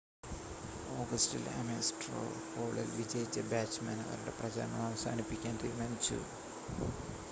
ഓഗസ്റ്റിൽ Ames straw പോളിൽ വിജയിച്ച ബാച്ച്‌മാൻ അവരുടെ പ്രചാരണം അവസാനിപ്പിക്കാൻ തീരുമാനിച്ചു